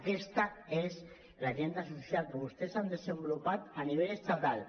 aquesta és l’agenda social que vostès han desenvolupat a nivell estatal